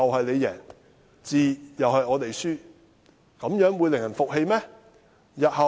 這種做法會令人服氣嗎？